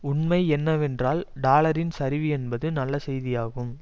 உண்மை என்னவென்றால் டாலரின் சரிவு என்பது நல்ல செய்தியாகும்